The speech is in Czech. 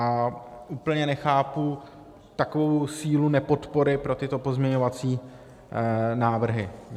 A úplně nechápu takovou sílu nepodpory pro tyto pozměňovací návrhy.